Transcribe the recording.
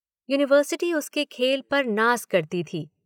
University उसके खेल पर नाज़ करती थी।